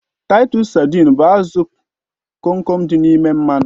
Taitus sadịn bụ azụ Kom Kom dị n'ime mmanụ